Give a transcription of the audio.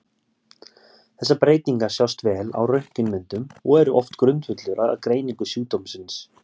Þessar breytingar sjást vel á röntgenmyndum og eru oft grundvöllur að greiningu sjúkdómsins.